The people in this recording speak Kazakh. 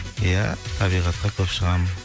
ия табиғатқа көп шығамын